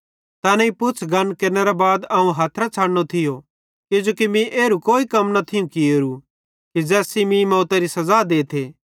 तैनेईं पुछ़ गन केरनेरे बाद अवं हथरां छ़डनो थियो किजोकि मीं कोई एरू कम न थियूं कियेरू कि ज़ैस सेइं मीं मौतरी सज़ा देथे